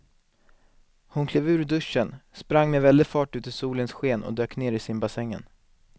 Hon klev ur duschen, sprang med väldig fart ut i solens sken och dök ner i simbassängen.